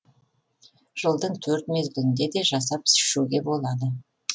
жылдың төрт мезгілінде де жасап ішуге болады